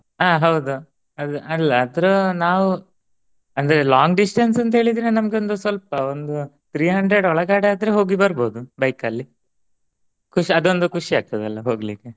ಆ ಹೌದು ಅಲ್ಲ ಆತರ ನಾವು ಅಂದ್ರೆ long distance ಅಂತ ಹೇಳಿದ್ರೆ ನಮಗೊಂದ ಸ್ವಲ್ಪ ಒಂದು Three hundred ಒಳಗಡೆ ಆದ್ರೆ ಹೋಗಿ ಬರ್ಬೋದು bike ಅಲ್ಲಿ ಖುಷಿ ಅದೊಂದ ಖುಷಿ ಆಗ್ತದಲ್ಲ ಹೋಗ್ಲಿಕ್ಕೆ.